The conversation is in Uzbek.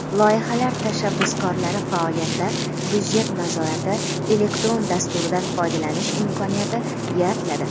Loyihalar tashabbuskorlari faoliyatida "Byudjet nazorati" elektron dasturidan foydalanish imkoniyati yaratiladi.